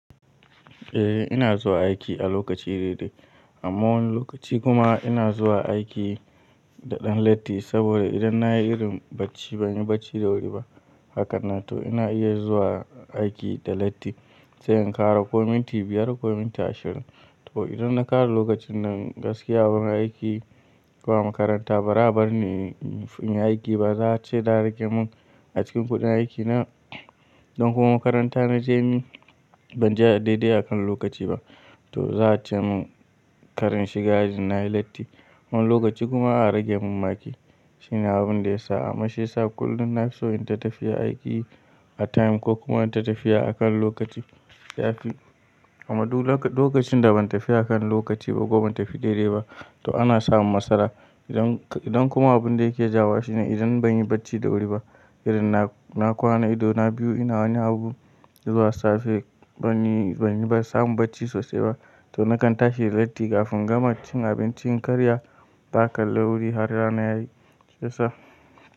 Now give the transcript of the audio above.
Eh ina zuwa aiki a lokaci daidai. A wani lokaci kuma ina zuwa aiki da ɗan latti saboda idan na yi irin bacci ban yi bacci da wuri ba. Hakanan to ina iya zuwa aiki da latti, sai in ƙara ko miniti biyar ko ko miniti ashirin. To idan na ƙara lokacin nan gaskiya awurun aiki ko makaranta ba za a barni in yi aiki ba. Za'a ce za'a rage mun a cikin kuɗin aikina. Don kuma makaranta na je ni ban je a daidai akan lokaci ba. To za a ce mun kar in shiga aji na yi latti. Wani lokaci kuma a rage mun maki. Shine abun da yasa ama shi yasa kullum na so in ta tafiya aiki a time ko kuma in ta tafiya akan lokaci. Yafi, amma lokacin da ban tafi akan lokaci ba ko ban tafi daidai ba to ana samun matsala. Idan, idan kuma abun da yake jawo wa shine idan ban yi bacci da wuri ba irin na kwana ido na biyu ina wani abu zuwa safe ban yi ba, ban samu bacci sosai ba. To nakan tashi latti kafin in gama cin abincin karya baƙa lauri har rana yayi. Sai sa.